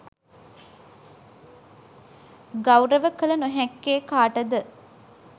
ගෞරව කළ නොහැක්කේ කාට ද?